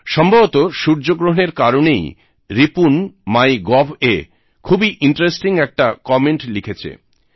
সম্ভবত সূর্যগ্রহণের কারণেই রিপুন মাই গভএ খুবই ইন্টারেস্টিং একটা কমেন্ট লিখেছে